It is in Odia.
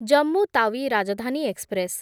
ଜମ୍ମୁ ତାୱି ରାଜଧାନୀ ଏକ୍ସପ୍ରେସ୍‌